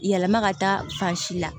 Yɛlɛma ka taa fan si la